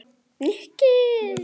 Nikki